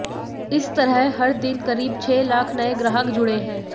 इस तरह हर दिन करीब छह लाख नए ग्राहक जुड़े हैं